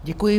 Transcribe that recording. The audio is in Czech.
Děkuji.